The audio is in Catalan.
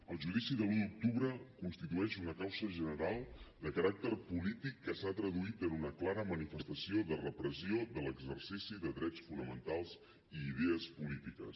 el judici de l’un d’octubre constitueix una causa general de caràcter polític que s’ha traduït en una clara manifestació de repressió de l’exercici de drets fonamentals i idees polítiques